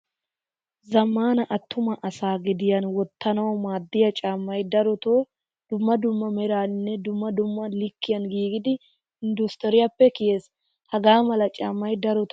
Zammaana attumaa asa gediyan woottanawu maadiya caamay daroto dumma dumma meeraninne dumma dumma likkiyan giigidi industuriyappe kiyees. Haga mala caamay daroto gatee al'ees.